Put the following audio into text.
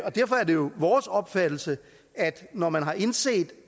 derfor er det vores opfattelse at når man har indset